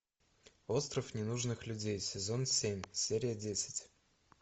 остров ненужных людей сезон семь серия десять